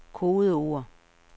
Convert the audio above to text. kodeord